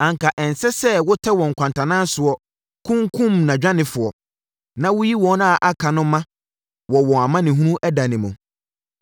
Anka ɛnsɛ sɛ wotɛ wɔn nkwantanan soɔ kunkumm nʼadwanefoɔ Na woyi wɔn a aka no ma wɔ wɔn amanehunu ɛda no mu.